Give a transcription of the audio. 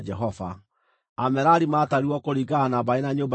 Amerari maatarirwo kũringana na mbarĩ na nyũmba ciao.